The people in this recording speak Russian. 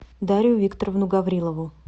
дарью викторовну гаврилову